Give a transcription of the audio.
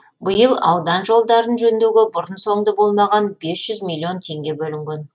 биыл аудан жолдарын жөндеуге бұрын соңды болмаған бес жүз миллион теңге бөлінген